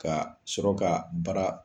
Ka sɔrɔ ka baara